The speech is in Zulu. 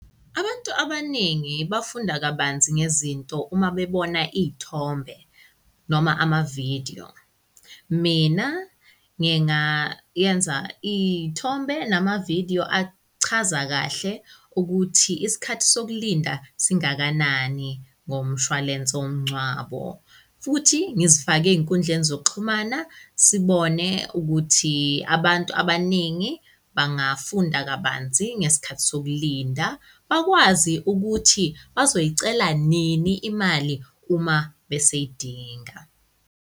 Abantu abaningi bafunda kabanzi ngezinto uma bebona iy'thombe noma ama-video. Mina nginga yenza iy'thombe nama-video achaza kahle ukuthi isikhathi sokulinda singakanani ngomshwalense womngcwabo. Futhi ngizifake ezinkundleni zokuxhumana sibone ukuthi abantu abaningi bangafunda kabanzi ngesikhathi sokulinda bakwazi ukuthi bazoyicela nini imali uma beseyidinga.